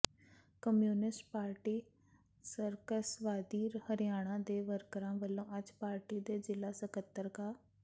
communist party ਮਾਰਕਸਵਾਦੀ ਹਰਿਆਣਾ ਦੇ ਵਰਕਰਾਂ ਵੱਲੋਂ ਅੱਜ ਪਾਰਟੀ ਦੇ ਜ਼ਿਲ੍ਹਾ ਸਕੱਤਰ ਕਾ